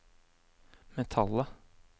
metallet